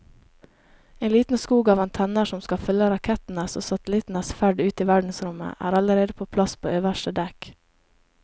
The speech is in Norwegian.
En liten skog av antenner som skal følge rakettenes og satellittenes ferd ut i verdensrommet er allerede på plass på øverste dekk.